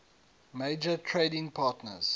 major trading partners